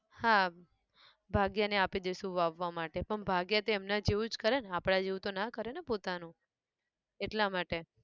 હા, ભાગ્યા ને આપી દઇશુ, વાવવા માટે, પણ ભાગ્યા તો એમના જ જેવું જ કરે ને આપણા જેવું તો ના કરે ને પોતાનું, એટલા માટે